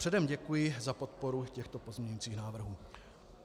Předem děkuji za podporu těchto pozměňujících návrhů.